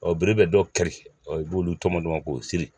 bere bɛ dɔw keri u b'olu tɔmɔ tɔmɔ k'o siri.